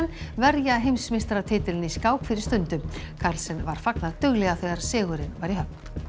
verja heimsmeistaratitilinn í skák fyrir stundu carlsen var fagnað duglega þegar sigurinn var í höfn